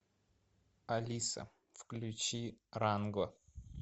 алиса включи ранго